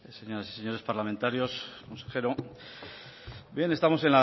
señoras y señores parlamentarios consejero bien estamos